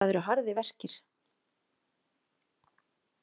Það eru harðir verkir.